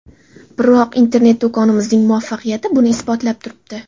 Biroq internet-do‘konimizning muvaffaqiyati buni isbotlab turibdi.